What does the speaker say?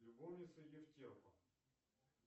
любовница евтерпа